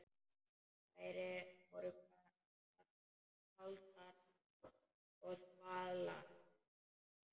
Þær voru kaldar og þvalar.